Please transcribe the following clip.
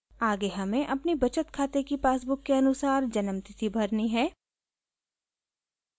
आगे हमें अपनी बचत खाते की पासबुक के अनुसार जन्म तिथि भरनी है